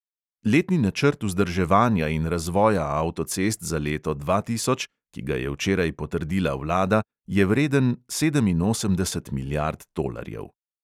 Letni načrt vzdrževanja in razvoja avtocest za leto dva tisoč, ki ga je včeraj potrdila vlada, je vreden sedeminosemdeset milijard tolarjev.